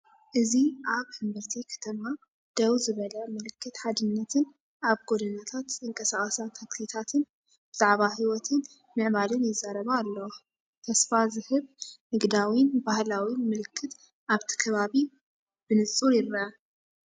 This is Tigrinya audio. እዚ ኣብ ሕምብርቲ ከተማ ደው ዝበለ ምልክት ሓድነትን ኣብ ጎደናታት ዝንቀሳቐሳ ታክሲታትን ብዛዕባ ህይወትን ምዕባለን ይዛረባ ኣለዋ። ተስፋ ዝህብ ንግዳዊን ባህላውን ምልክት ኣብቲ ከባቢ ብንጹር ይርአ።